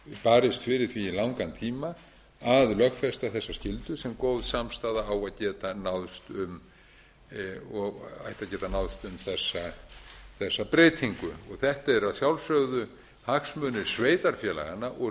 barist fyrir því í langan tíma að lögfesta þessa skyldu sem góð samstaða á að geta náðst um þessa breytingu þetta eru að sjálfsögðu hagsmunir sveitarfélaganna og